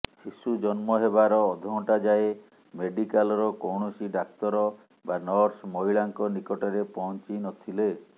ଶିଶୁ ଜନ୍ମ ହେବାର ଅଧଘଣ୍ଟା ଯାଏଁ ମେଡିକାଲର କୌଣସି ଡାକ୍ତର ବା ନର୍ସ ମହିଳାଙ୍କ ନିକଟରେ ପହଞ୍ଚିନଥିଲେ